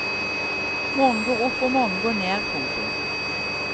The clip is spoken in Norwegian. Månen går opp og månen går ned. punktum